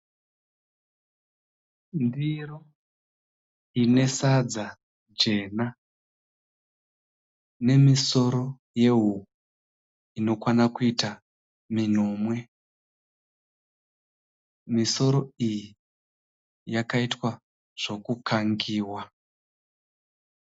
Ndiro ine sadza jena nemusoro yehuku minomwe yakakangiwa